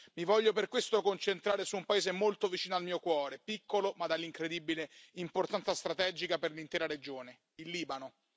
Mi voglio per questo concentrare su un paese molto vicino al mio cuore, piccolo ma dall'incredibile importanza strategica per l'intera regione il Libano.